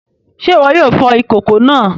Se iwọ yóò fò ìkòkò náà?